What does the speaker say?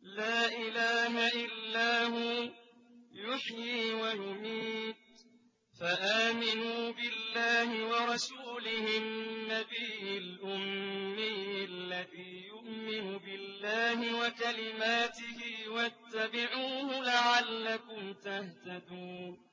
لَا إِلَٰهَ إِلَّا هُوَ يُحْيِي وَيُمِيتُ ۖ فَآمِنُوا بِاللَّهِ وَرَسُولِهِ النَّبِيِّ الْأُمِّيِّ الَّذِي يُؤْمِنُ بِاللَّهِ وَكَلِمَاتِهِ وَاتَّبِعُوهُ لَعَلَّكُمْ تَهْتَدُونَ